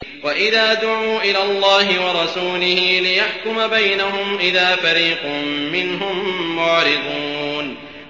وَإِذَا دُعُوا إِلَى اللَّهِ وَرَسُولِهِ لِيَحْكُمَ بَيْنَهُمْ إِذَا فَرِيقٌ مِّنْهُم مُّعْرِضُونَ